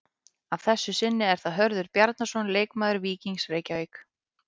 Að þessu sinni er það Hörður Bjarnason leikmaður Víkings Reykjavík.